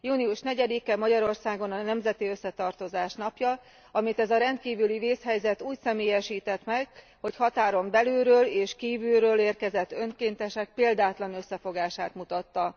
Június 4 e Magyarországon a nemzeti összetartozás napja, amit ez a rendkívüli vészhelyzet úgy személyesített meg, hogy határon belülről és kívülről érkezett önkéntesek példátlan összefogását mutatta.